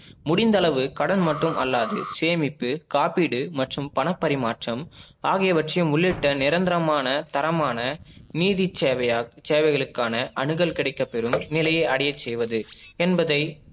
முடிந்தளவு கடன் மட்டும் அல்லாது சேமிப்பு காப்பிடு மற்றும் பணம் பரிமாற்றம், ஆகியவற்றியும் உள்ளிட்ட நிரந்தரமான தரமான நீதிசேவை சேவைகளுக்கான அணுகல் கிடைக்க பெரும் நிலைய அடைய செய்வது என்பதை